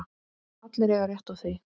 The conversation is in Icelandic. Allir eiga rétt á því.